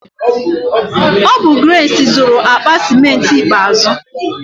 Ọ bụ Grace zụru akpa ciment ikpeazụ.